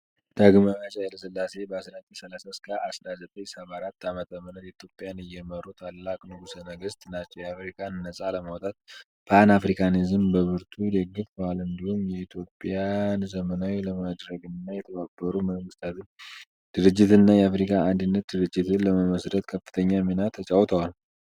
ዳግማዊ አፄ ኃይለ ሥላሴ ከ1930 እስከ 1974 ዓ.ም ኢትዮጵያን የመሩ ታላቅ ንጉሠ ነገሥት ናቸው። አፍሪካን ነጻ ለማውጣት ፓን አፍሪካኒዝምን በብርቱ ደግፈዋል፤ እንዲሁም ኢትዮጵያን ዘመናዊ ለማድረግና የተባበሩት መንግስታት ድርጅትና የአፍሪካ አንድነት ድርጅትን ለመመሥረት ከፍተኛ ሚና ተጫውተዋል።